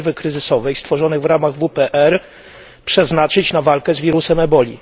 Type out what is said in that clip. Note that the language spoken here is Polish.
rezerwy kryzysowej stworzonej w ramach WPR przeznaczyć na walkę z wirusem ebola.